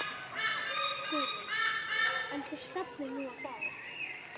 Guðrún: En þú stefnir nú á það?